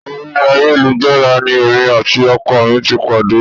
Orí ayélujára ni èmi àti ọkọ mi ti pàdé